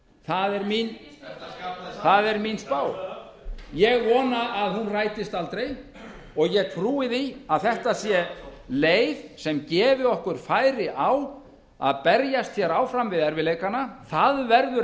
það er mín spá ég vona að hún rætist aldrei og ég frú því að þetta sé leið sem gefi okkur færi á að berjast áfram við erfiðleikana það verður